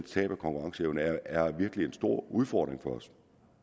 tab af konkurrenceevne det er virkelig er en stor udfordring for os